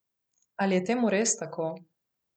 Ali je temu res tako?